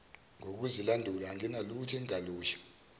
ngokuzilandula anginalutho engingalusho